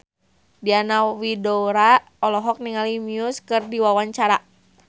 Diana Widoera olohok ningali Muse keur diwawancara